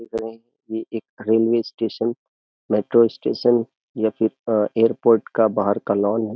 ये एक railway station metro station या फिर एयरपोर्ट का बाहर का लॉन है।